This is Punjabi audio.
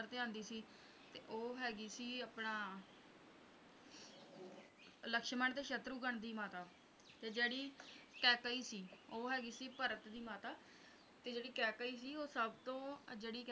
ਤੇ ਆਉਂਦੀ ਸੀ ਤੇ ਉਹ ਹੈਗੀ ਸੀ ਆਪਣਾ ਲਕਸ਼ਮਣ ਤੇ ਸ਼ਤਰੁਘਨ ਦੀ ਮਾਤਾ ਤੇ ਜਿਹੜੀ ਕੇਕਈ ਸੀ ਉਹ ਹੈਗੀ ਸੀ ਭਰਤ ਦੀ ਮਾਤਾ ਤੇ ਜਿਹੜੀ ਕੇਕਈ ਸੀ ਉਹ ਸਭ ਤੋਂ